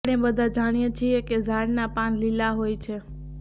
આપણે બધા જાણીએ છીએ કે ઝાડના પાન લીલા હોય છે